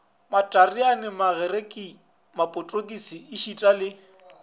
matareane magerike mapotokisi ešita le